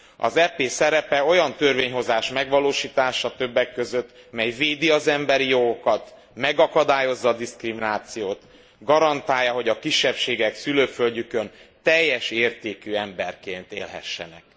Az EP szerepe olyan törvényhozás megvalósítása többek között, mely védi az emberi jogokat, megakadályozza a diszkriminációt, garantálja, hogy a kisebbségek szülőföldjükön teljes értékű emberként élhessenek.